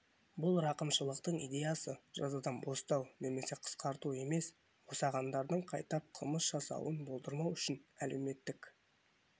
бұл рақымшылықтың идеясы жазадан бостау немесе қысқарту емес босағандардың қайталап қылмыс жасауын болдырмау ол үшін әлеуметтік